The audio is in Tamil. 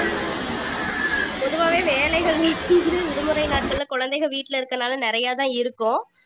பொதுவாவே வேலைகள் விடுமுறை நாட்கள்ல குழந்தைங்க வீட்ல இருக்குறதுனால நிறைய தான் இருக்கும்